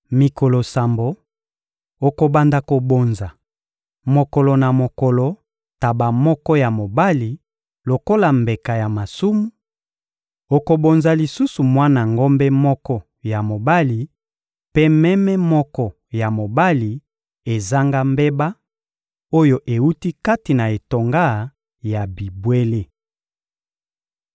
Mikolo sambo, okobanda kobonza, mokolo na mokolo, ntaba moko ya mobali lokola mbeka ya masumu; okobonza lisusu mwana ngombe moko ya mobali mpe meme moko ya mobali ezanga mbeba, oyo ewuti kati na etonga ya bibwele.